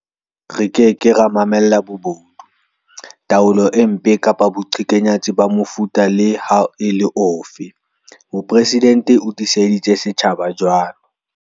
"Re ke ke ra mamella bobodu, taolo e mpe kapa boqhekanyetsi ba mofuta le ha e le ofe", Mopresidente o tiiseditse setjhaba jwalo.